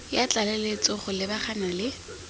ya tlaleletso go lebagana le